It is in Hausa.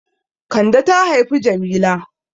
Kande ta haifi Jamila.